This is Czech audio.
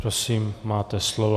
Prosím, máte slovo.